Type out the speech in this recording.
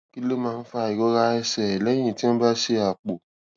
kí ló máa ń fa ìrora ẹsè léyìn tí wón bá ṣe àpò